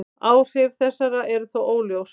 Áhrif þessa eru þó óljós.